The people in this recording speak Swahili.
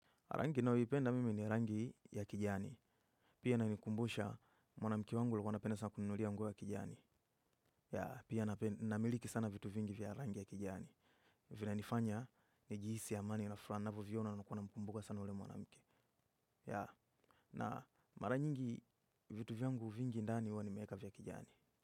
Rangi ninayoipenda mimi ni rangi ya kijani. Pia inanikumbusha mwanamke wangu alikuwa alikuwa anapenda sana kuninunulia nguo ya kijani. Pia namiliki sana vitu vingi vya rangi ya kijani. Vinanifanya nijihisi amani na furaha ninavyoviona nakuwa namkumbuka sana yule mwanamke. Ya, na mara nyingi vitu vyangu vingi ndani huwa nimeweka vya kijani.